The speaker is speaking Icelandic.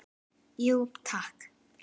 Jú takk